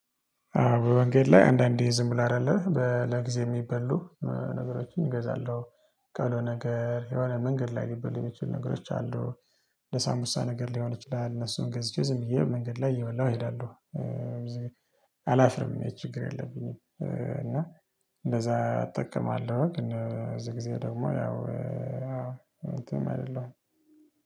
በመንገድ ላይ አንዳንዴ ዝም ብለህ አይደለ ለጊዜ የሚበሉ ነገሮችን እገዛለሁ ቀሎ ነገር የሆነ መንገድ ላይ የሚበልጡ ነገሮች አሉ። ለሳንቡሳ ነገር ሊሆን ይችላል እነሱን ገዝቼ ዝም ብዬ መንገድ ላይ የበላሁ እሄዳለሁ። ብዙ ጊዜ አላፍርም ይሄ ችግር የለብኝም። እና እንደዛ እጠቀማለሁ ግን እዚህ ጊዜ ደግሞ ያው አዎ እንትን አይደለሁም።